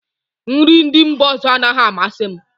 Nri ndị mba ọzọ anaghị amasị m